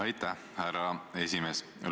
Aitäh, härra esimees!